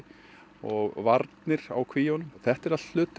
og varnir á kvíunum og þetta eru allt hlutir